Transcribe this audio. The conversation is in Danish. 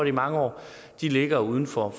i mange år ligger uden for